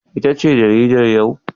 Ita ce jaridar yau?